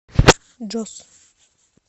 джос